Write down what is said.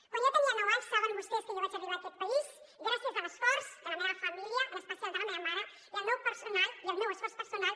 quan jo tenia nou anys saben vostès que jo vaig arribar a aquest país gràcies a l’esforç de la meva família en especial de la meva mare i el meu esforç personal